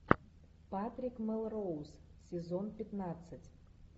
патрик мелроуз сезон пятнадцать